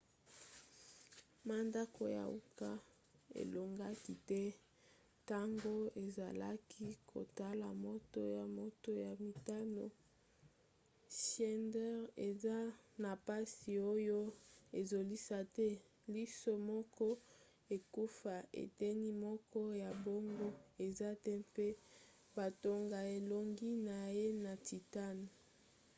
mandako ya uka elongaki te ntango ezalakisa kotala moto ya moto ya mitano. schneider aza na mpasi oyo ezosila te liso moko ekufa eteni moko ya boongo eza te mpe batonga elongi na ye na titane